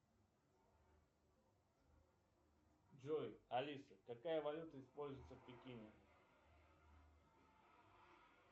джой алиса какая валюта используется в пекине